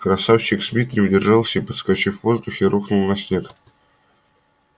красавчик смит не удержался и подскочив в воздухе рухнул на снег